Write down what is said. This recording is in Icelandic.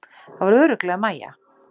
Það var örugglega Maja.